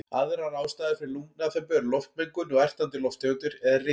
Aðrar ástæður fyrir lungnaþembu eru loftmengun og ertandi lofttegundir eða ryk.